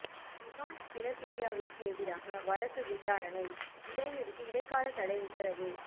கிஹான் பிலபிட்டியவிற்கு எதிரான வழக்கு விசாரணை இடைநிறுத்தி இடைக்கால தடை உத்தரவு